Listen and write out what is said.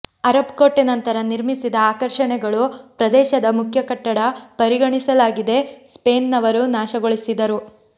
Arab ಕೋಟೆ ನಂತರ ನಿರ್ಮಿಸಿದ ಆಕರ್ಷಣೆಗಳು ಪ್ರದೇಶದ ಮುಖ್ಯ ಕಟ್ಟಡ ಪರಿಗಣಿಸಲಾಗಿದೆ ಸ್ಪ್ಯೇನ್ ನವರು ನಾಶಗೊಳಿಸಿದರು